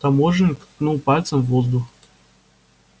таможенник ткнул пальцем в воздух